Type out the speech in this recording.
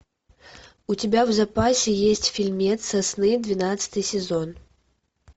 у тебя в запасе есть фильмец сосны двенадцатый сезон